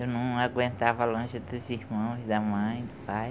Eu não aguentava longe dos irmãos, da mãe, do pai.